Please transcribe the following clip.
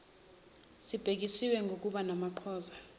sibhekiswe kubani namaqhaza